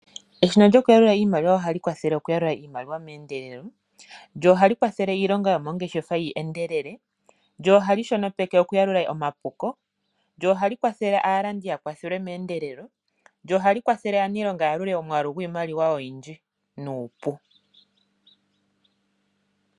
Eshina lyoku yalula iimaliwa ohali kwathele oku yalula iimaliwa meendelelo , lyo ohali kwathele iilonga yomoongeshefa yi endelele, lyo ohali shonopeke oku yalula omapuko, lyo ohali kwathele aalandi ya kwathelwe meendelelo, lyo ohali kwathele aanilonga ya yalule omwaalu gwiimaliwa oyindji nuupu.